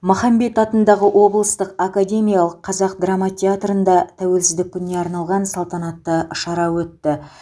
махамбет атындағы облыстық академиялық қазақ драма театрында тәуелсіздік күніне арналған салтанатты шара өтті